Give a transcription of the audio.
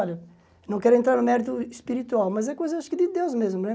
Olha, não quero entrar no mérito espiritual, mas é coisa, acho que, de Deus mesmo, né?